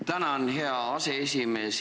Tänan, hea aseesimees!